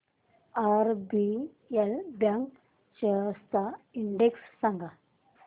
RBL bank shares चा index सांगा